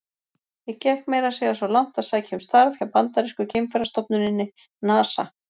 Ég gekk meira að segja svo langt að sækja um starf hjá bandarísku geimferðastofnuninni, NASA.